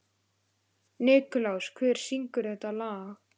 Nikulás, hver syngur þetta lag?